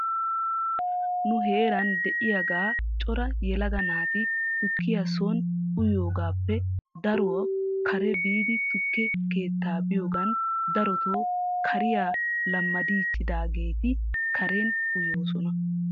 Nu heeran de'igaa cora yelaga naati tukkiyaa son uyiyoogaappe daro kare biidi tukke keettaa biyoogan daroto kariyaa lammadiichchaageeti karen uyoosona.